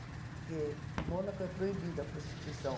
Porque Mônaco é proibida a prostituição.